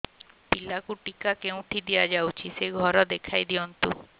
ପିଲାକୁ ଟିକା କେଉଁଠି ଦିଆଯାଉଛି ସେ ଘର ଦେଖାଇ ଦିଅନ୍ତୁ